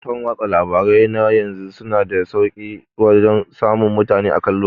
Kafafan watsa labarai na yanzu suna da sauke wajan samun mutane akan lokaci